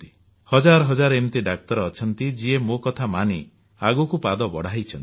ହଜାର ହଜାର ଏମିତି ଡାକ୍ତର ଅଛନ୍ତି ଯିଏ ମୋ କଥା ମାନି ଆଗକୁ ପାଦ ବଢ଼ାଇଛନ୍ତି